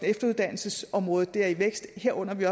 efteruddannelsesområdet er i vækst og vi